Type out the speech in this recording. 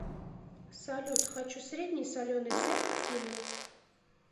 салют хочу средний соленый сет к фильму